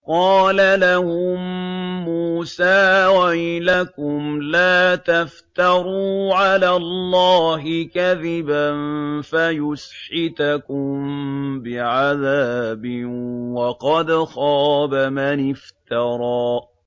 قَالَ لَهُم مُّوسَىٰ وَيْلَكُمْ لَا تَفْتَرُوا عَلَى اللَّهِ كَذِبًا فَيُسْحِتَكُم بِعَذَابٍ ۖ وَقَدْ خَابَ مَنِ افْتَرَىٰ